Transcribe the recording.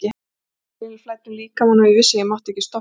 Adrenalínið flæddi um líkamann og ég vissi að ég mátti ekki stoppa.